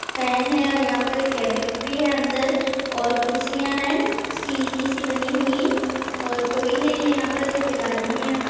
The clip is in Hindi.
फैन है और यहाँ पर एक केबिन भी है अंदर और कुर्सियाँ हैं स्टिल की सी बनी हुई है और कोई नहीं है यहाँ पर सिर्फ एक आदमी है।